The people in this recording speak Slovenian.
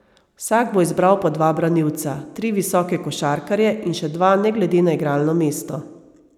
Vsak bo izbral po dva branilca, tri visoke košarkarje in še dva ne glede na igralno mesto.